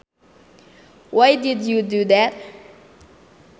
Why did you do that